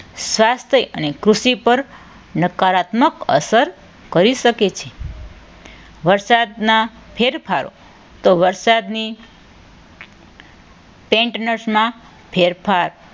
સ્વાસ્થ્ય અને કૃષિ પર નકારાત્મક અસર કરી શકે છે. વરસાદના ફેરફારો તો વરસાદની ટેન્ટસમાં ફેરફાર